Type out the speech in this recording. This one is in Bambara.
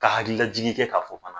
Ka hakililajigi kɛ k'a fɔ fana